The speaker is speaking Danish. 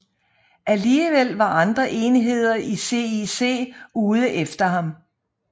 Alligevel var andre enheder i CIC ude efter ham